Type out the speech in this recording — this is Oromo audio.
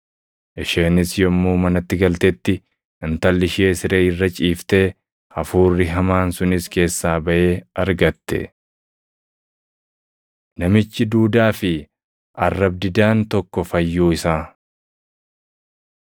Isheenis yommuu manatti galtetti intalli ishee siree irra ciiftee, hafuurri hamaan sunis keessaa baʼee argatte. Namichi Duudaa fi Arrab-didaan Tokko Fayyuu Isaa 7:31‑37 kwf – Mat 15:29‑31